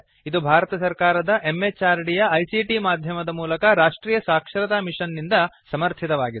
ಇದು ಭಾರತ ಸರ್ಕಾರದ MHRDಯ ICTಮಾಧ್ಯಮದ ಮೂಲಕ ರಾಷ್ಟ್ರೀಯ ಸಾಕ್ಷರತಾ ಮಿಷನ್ ನಿಂದ ಸಮರ್ಥಿತವಾಗಿದೆ